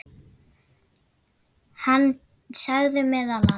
Hann sagði meðal annars